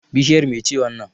Bishiyar me ce wannan?